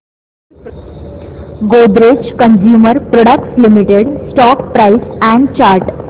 Godrej consumer products limited stock price and chart